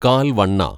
കാല്‍ വണ്ണ